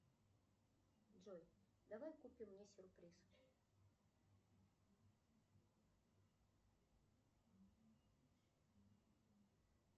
джой давай купим мне сюрприз